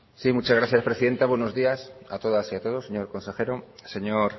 muchas gracias presidenta buenos días a todas y a todos señor consejero señor